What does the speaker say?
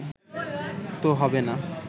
তো হবে না